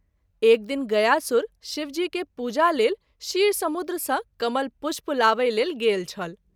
एक दिन गयासुर शिवजी के पूजा लेल क्षीर समुद्र सँ कमल पुष्प लाबए लेल गेल छल।